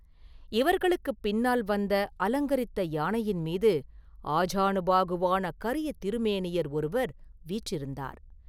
இவர்களுக்குப் பின்னால் வந்த அலங்கரித்த யானையின் மீது ஆஜானுபாகுவான கரிய திருமேனியர் ஒருவர் வீற்றிருந்தார்.